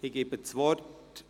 Ich erteile das Wort …